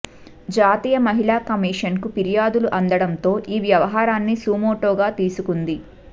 జాతీయ మహిళా కమీషన్ కి ఫిర్యాదులు అందడంతో ఈ వ్యవహారాన్ని సుమోటోగా తీసుకుంది